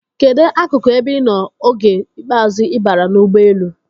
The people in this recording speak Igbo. Kedụ akụkụ ebe ị nọ oge ikpeazụ ị baara n'ụgbọelu?